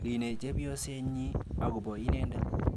Line chepyosenyi akobo inendet.